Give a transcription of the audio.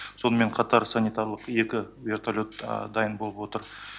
сонымен қатар санитарлық екі вертолет дайын болып отыр